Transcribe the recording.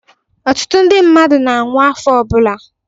ọtụtụ ndi mmadụ na-anwụ afọ ọbụla